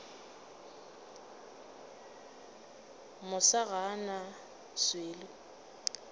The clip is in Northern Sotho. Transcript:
masa ga a na swele